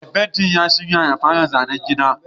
Mai fenti ya shirya ya fara zanen gidan